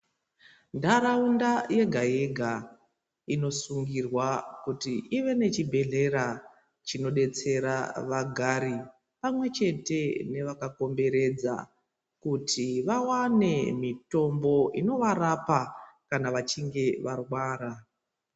Ntharaunda yega yega inosungirwa kuti ive nechibhedhlera chinodetsera vagari pamwe chete nevakakomberdza kuti vawane mitombo inovarapa kana vachinge varwara.